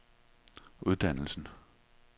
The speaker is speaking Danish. uddannelsen